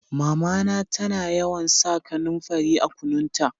Mama na ta na yawan sa kanumfari a kunun ta.